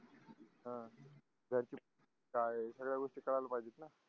ह ज्याची काय सगळ्या गोष्टी कळायला पाहिजे न